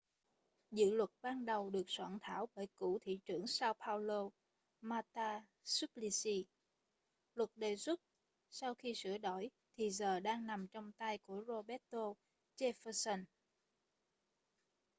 dự luật ban đầu được soạn thảo bởi cựu thị trưởng sao paolo marta suplicy luật đề xuất sau khi sửa đổi thì giờ đang nằm trong tay của roberto jefferson